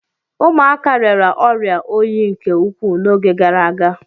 Ụmụaka rịara ọrịa oyi nke ukwuu n'oge gara aga.